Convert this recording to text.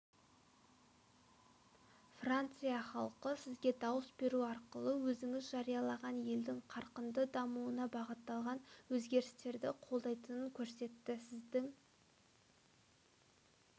франция халқы сізге дауыс беру арқылы өзіңіз жариялаған елдің қарқынды дамуына бағытталған өзгерістерді қолдайтынын көрсетті сіздің